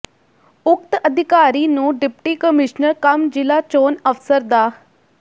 ਉਕਤ ਅਧਿਕਾਰੀ ਨੂੰ ਡਿਪਟੀ ਕਮਿਸ਼ਨਰ ਕਮ ਜ਼ਿਲ੍ਹਾ ਚੋਣ ਅਫਸਰ ਡਾ